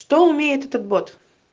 что умеет этот бот